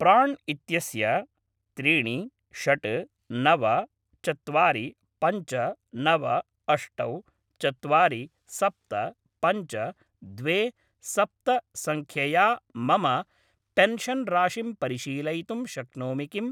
प्राण् इत्यस्य त्रीणि षट् नव चत्वारि पञ्च नव अष्टौ चत्वारि सप्त पञ्च द्वे सप्त सङ्ख्यया मम पेन्शन् राशिं परिशीलयितुं शक्नोमि किम्?